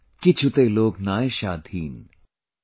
KichhuteLokNoyaShadhiaan ||